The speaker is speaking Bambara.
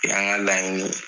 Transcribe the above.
O y'an ga laɲini ye.